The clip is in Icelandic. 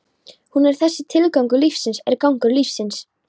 Hún er þessi: Tilgangur lífsins er gangur lífsins.